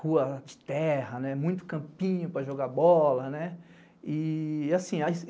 rua de terra, muito campinho para jogar bola.